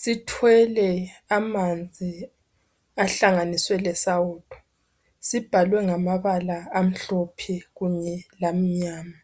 sithwele amanzi ahlanganiswe lesawudo sibhalwe ngamabala amhlophe kunye lamnyama